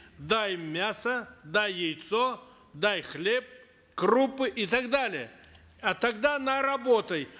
дай мясо дай яйцо дай хлеб крупы и так далее а тогда она работает